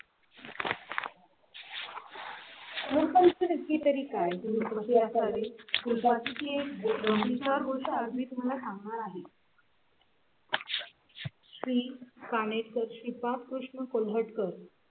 ची तरी काय तुम्ही आहे? श्री पानेसर शिपा कृष्ण कोल्हटकर